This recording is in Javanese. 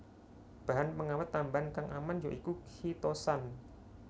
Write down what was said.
Bahan pengawét tambahan kang aman ya iku khitosan